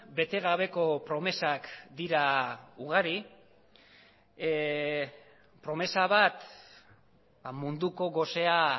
bete gabeko promesak dira ugari promesa bat munduko gosea